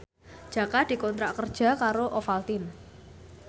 Jaka dikontrak kerja karo Ovaltine